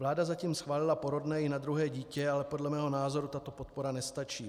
Vláda zatím schválila porodné i na druhé dítě, ale podle mého názoru tato podpora nestačí.